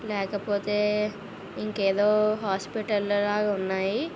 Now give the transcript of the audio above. లేకపోతే ఇంకేదో హాస్పిటలు లాగా ఉన్నాయ్.